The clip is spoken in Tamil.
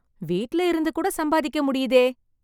வீட்டுல இருந்து கூட சம்பாதிக்க முடியுதே